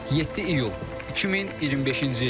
7 iyul 2025-ci il.